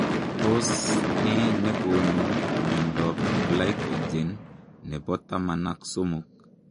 Tos ne nekonuu miondoop Glycogen nepoo taman ak somok